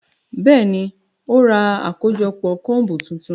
Bẹẹni, o ra akojọpọ combu tuntun